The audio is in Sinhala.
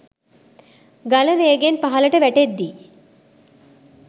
ගල වේගයෙන් පහළට වැටෙද්දී